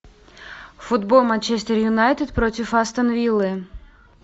футбол манчестер юнайтед против астон виллы